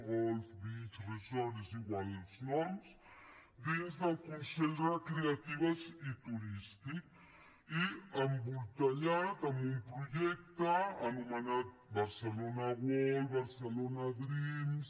golf beach resort és igual els noms dins del consell recreatiu i turístic i embolcallat en un projecte anomenat barcelona world barcelona dreams